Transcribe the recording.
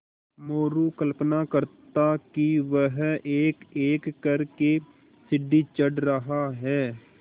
मोरू कल्पना करता कि वह एकएक कर के सीढ़ी चढ़ रहा है